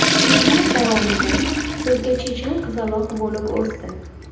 Yillar davomida so‘zga chechan qizaloq bo‘lib o‘sdi.